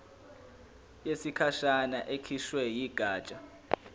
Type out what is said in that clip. yesikhashana ekhishwe yigatsha